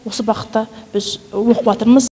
осы бағытта біз оқыватырмыз